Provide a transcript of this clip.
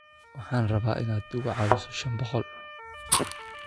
Waxaan rabaa in aad igu caawiso shan boqol